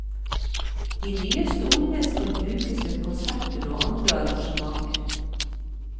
De nye stolene skal brukes ved konserter og andre arrangementer.